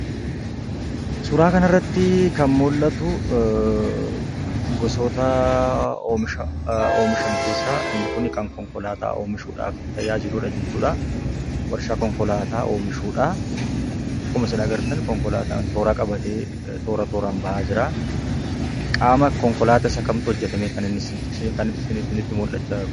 Suuraa kanarratti kan mul'atu gosoota oomisha oomishan keessaa inni kun kan konkolaataa oomishuudhaaf tajaajiludha jechuudha. Warshaa konkolaataa oomishuudha. Akkuma isin agartan konkolaataan toora qabatee toora tooraan bahaa jiraa. Qaama konkolaataa isa kamtu hojjatamee isinitti mul'achaa jira?